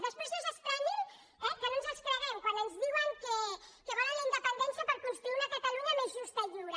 després no s’estranyin que no ens els creguem quan ens diuen que volen la indepen·dència per construir una catalunya més justa i lliure